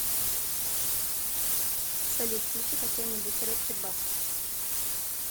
салют включи какой нибудь рэпчик баста